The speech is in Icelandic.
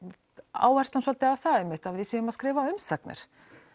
áherslan svolítið á það einmitt að við séum að skrifa umsagnir